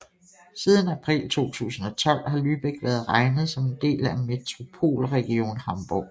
Siden april 2012 har Lübeck været regnet som en del af Metropolregion Hamburg